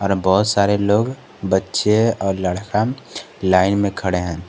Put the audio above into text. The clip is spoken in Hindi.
बहोत सारे लोग बच्चे और लड़का लाइन में खड़े हैं।